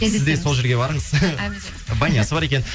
сіз де сол жерге барыңыз банясы бар екен